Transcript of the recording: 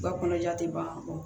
Ba kɔnɔja te ban